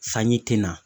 Sanji tɛna